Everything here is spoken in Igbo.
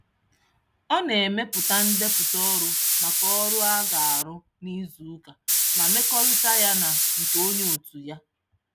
Ọ na-emepụta ndepụta ọrụ maka ọrụ a ga-arụ n'izuụka ma mmekọrịta ya na nke onye otu ya.